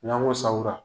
N'an ko sanwra